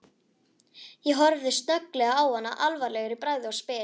Ég horfi snögglega á hana alvarlegur í bragði og spyr